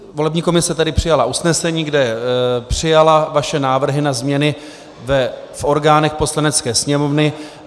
Volební komise tedy přijala usnesení, kde přijala vaše návrhy na změny v orgánech Poslanecké sněmovny.